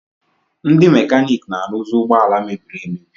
Ndi mekanik na-aruzi ụgbọ ala mebiri emebi.